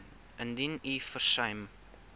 indien u versuim